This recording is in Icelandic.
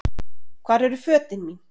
Hvar eru fötin mín?